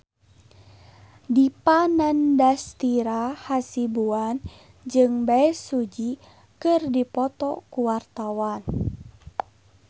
Dipa Nandastyra Hasibuan jeung Bae Su Ji keur dipoto ku wartawan